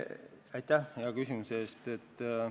Aitäh hea küsimuse eest!